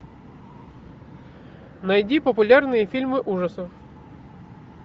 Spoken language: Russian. найди популярные фильмы ужасов